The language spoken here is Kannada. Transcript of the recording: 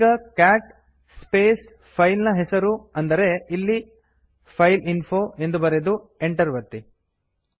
ಈಗ ಕ್ಯಾಟ್ ಸ್ಪೇಸ್ ಫೈಲ್ ನ ಹೆಸರು ಅಂದರೆ ಇಲ್ಲಿ ಫೈಲ್ಇನ್ಫೋ ಎಂದು ಬರೆದು ಎಂಟರ್ ಒತ್ತಿ